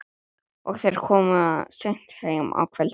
Og þeir koma seint heim á kvöldin.